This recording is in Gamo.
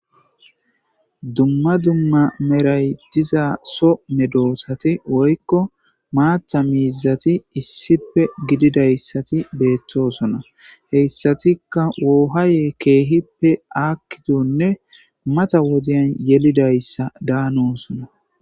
Dumma dumma meray diza so medoosatI woykko maatha miizati issife gididayssati beettosona. Heyssatikka woohaye keehippe aakkidonne matha wodiyan yelidayssa daanosona.